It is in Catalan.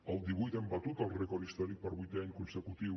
el divuit hem batut el rècord històric per vuitè any consecutiu